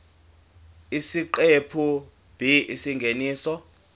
isiqephu b isingeniso